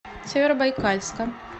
северобайкальска